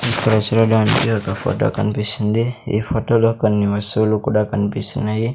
ఇక్కడ చూడడానికి ఒక ఫోటో కనిపిస్తుంది ఈ ఫోటోలో కొన్ని వస్తువులు కూడా కనిపిస్తున్నాయి.